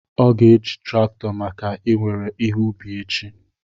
Ọ ga-eji traktọ maka I nwere ihe ubi echi